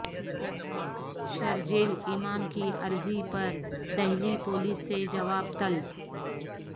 شرجیل امام کی عرضی پر دہلی پولیس سے جواب طلب